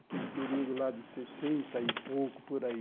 Aquele período lá de sessenta e pouco por aí.